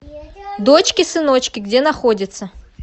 дочки сыночки где находится